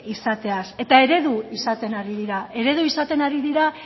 izateaz eta eredu izaten ari dira eredu izaten ari dira